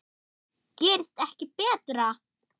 Gerist ekki betra!